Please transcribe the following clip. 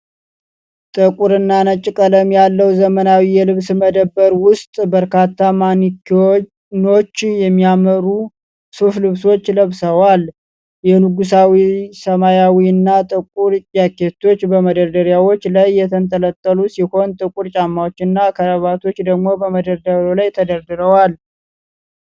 ጥቁር እና ነጭ ቀለም ያለው ዘመናዊ የልብስ መደብር ውስጥ፣ በርካታ ማኒኪኖች የሚያምሩ ሱፍ ልብሶችን ለብሰዋል። የንጉሣዊ ሰማያዊ እና ጥቁር ጃኬቶች በመደርደሪያዎች ላይ የተንጠለጠሉ ሲሆን ጥቁር ጫማዎች እና ክራቫቶች ደግሞ በመደርደሪያ ላይ ተደርድረዋል።